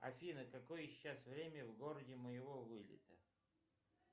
афина какое сейчас время в городе моего вылета